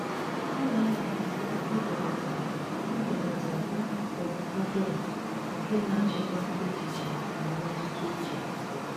Ọ na-amalite ibelata ibelata akụkụ ụbụrụ nke na-achịkwa echiche na mmetụta uche.